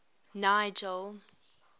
nigel